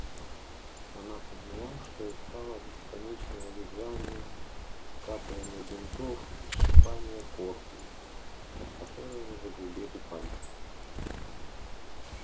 она поняла что устала от бесконечного вязания скатывания бинтов и щипания корпии от которой у неё загрубели пальцы